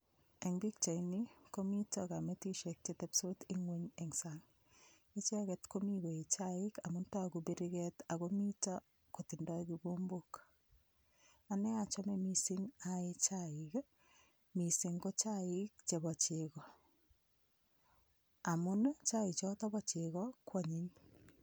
Eng' pikchaini komito kametishek chetepsot ng'weny eng' sang' icheget komi koee chaik amun toku biriket ako mito kotindoi kikombok ane achome mising' aee chaik mising' ko chaik chebo cheko amun chaichoto bo chego koonyiny